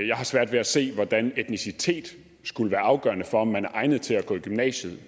jeg har svært ved at se hvordan etnicitet skulle være afgørende for om man er egnet til at gå i gymnasiet